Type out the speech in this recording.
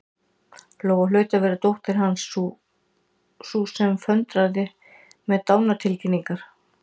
Lóa hlaut að vera dóttir Hans, sú sem föndraði með dánartilkynningar.